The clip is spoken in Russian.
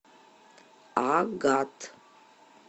агат